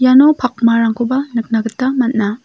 iano pakmarangkoba nikna gita man·a.